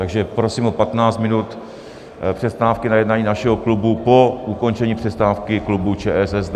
Takže prosím o 15 minut přestávky na jednání našeho klubu po ukončení přestávky klubu ČSSD.